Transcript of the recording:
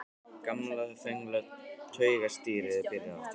Gamla, þögla taugastríðið er byrjað aftur.